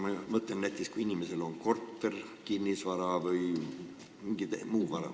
Ma mõtlen, kui inimesel on näiteks korter, kinnisvara või mingi muu vara.